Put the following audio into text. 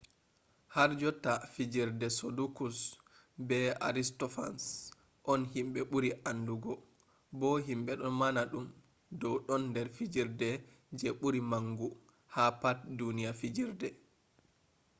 harjotta fijerde sodokuls be aristofans on himɓe ɓuri andugo bo himɓe ɗo mana ɗum dow ɗon nder fijerde je ɓuri mangu ha pat duniya fijerde